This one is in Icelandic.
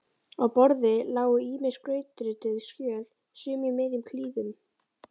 Á borði lágu ýmis skrautrituð skjöl, sum í miðjum klíðum.